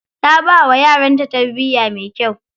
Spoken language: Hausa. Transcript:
Ta bawa yaranta tarbiya mai kyau.